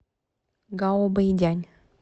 гаобэйдянь